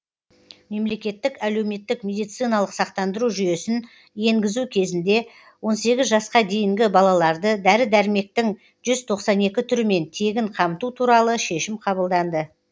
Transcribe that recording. мемлекеттік әлеуметтік медициналық сақтандыру жүйесін енгізу кезінде он сегіз жасқа дейінгі балаларды дәрі дәрмектің жүз тоқсан екі түрімен тегін қамту туралы шешім қабылданды